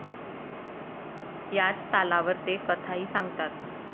याच तालावर ते कथाही सांगतात.